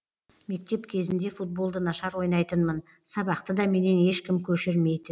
мектеп кезінде футболды нашар ойнайтынмын сабақты да менен ешкім көшірмейтін